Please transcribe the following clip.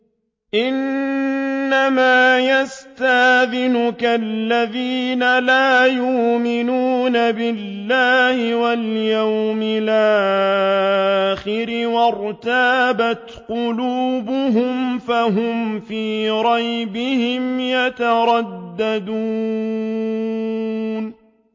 إِنَّمَا يَسْتَأْذِنُكَ الَّذِينَ لَا يُؤْمِنُونَ بِاللَّهِ وَالْيَوْمِ الْآخِرِ وَارْتَابَتْ قُلُوبُهُمْ فَهُمْ فِي رَيْبِهِمْ يَتَرَدَّدُونَ